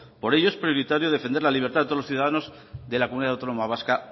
por ello es prioritario defender la libertad de todos los ciudadanos de la comunidad autónoma vasca